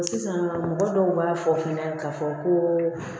Sisan mɔgɔ dɔw b'a fɔ fɛnɛ ka fɔ ko